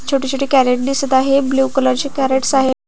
छोटे छोटे कॅरट दिसत आहे ब्ल्यु कलरचे कॅरेटस आहे.